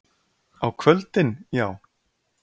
Á kvöldin, já?